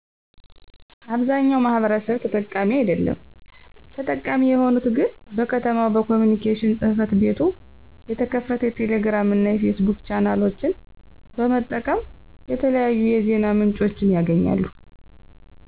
አብዛኛው ማሕበረሰብ ተጠቃሚ አደለም። ተጠቃሚ የሆኑት ግን በ ከተማው በኮምንኬሽን ጽህፈት ቤቱየተከፈተ የቴሌግራም እና የፌስቡክ ቻናሎችን በመጠቀም የተለያዪ የዜና ምንጮችን ያገኛሉ።